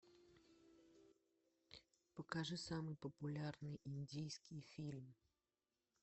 покажи самый популярный индийский фильм